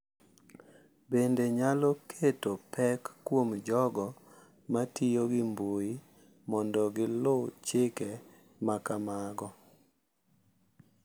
Bende, nyalo keto pek kuom jogo ma tiyo gi mbui mondo giluw chike ma kamago.